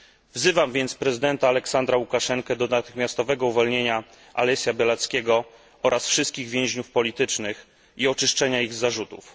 Wzywam więc prezydenta Aleksandra Łukaszenkę do natychmiastowego uwolnienia Alesia Białackiego oraz wszystkich więźniów politycznych i do oczyszczenia ich z zarzutów.